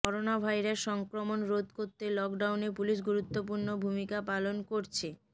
corona virus সংক্রমণ রোধ করতে লকডাউনে পুলিশ গুরুত্বপূর্ণ ভূমিকা পালন করছে